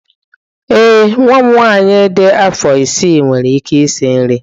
Ee, nwa m nwanyị dị afọ isii nwere ike isi nri